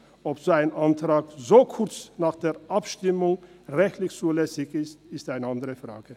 Ob solch ein Antrag so kurz nach der Abstimmung rechtlich zulässig ist, ist eine andere Frage.